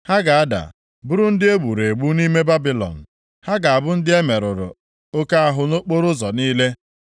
Ha ga-ada, bụrụ ndị e gburu egbu nʼime Babilọn, ha ga-abụ ndị e merụrụ oke ahụ nʼokporoụzọ niile.